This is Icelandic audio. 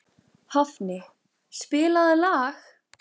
Hafni, spilaðu lag.